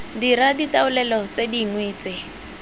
dira ditaolelo tse dingwe tse